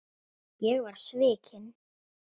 Ég var svikinn